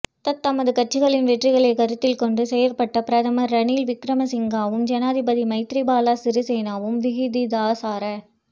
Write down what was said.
தத்தமது கட்சிகளின் வெற்றிகளைக் கருத்தில் கொண்டு செயற்பட்ட பிரதமர் ரணில் விக்கிரமசிங்காவும் ஜனாதிபதி மைத்திரிபால சிறிசேனவும் விகிதாசார